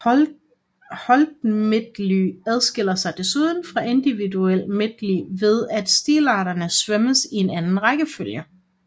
Holdmedley adskiller sig desuden fra individuel medley ved at stilarterne svømmes i en anden rækkefølge